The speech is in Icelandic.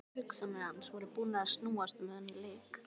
Allar hugsanir hans voru búnar að snúast um þennan leik.